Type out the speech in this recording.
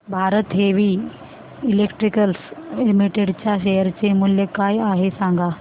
Bharat heavy electricals limited च्या share चे मूल्य काय आहे सांगा